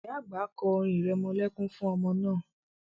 Ìyá àgbà kọ́ orin irẹmọlẹ́kún fún ọmọ náà